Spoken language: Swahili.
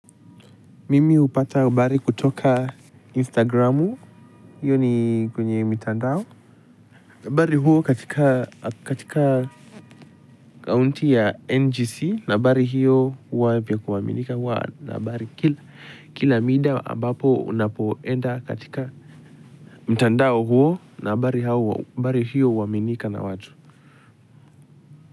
Mimi hupata habari kutoka instagramu hiyo ni kwenye mitandao bari huwa katika akaunti ya ngc na habari hiyo huwa vya kuaminika huwa na habari kila kila mida ambapo unapoenda katika mtandao huo na habari hiyo huaminika na watu.